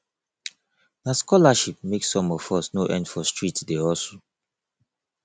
na scholarship make some of us no end for street dey hustle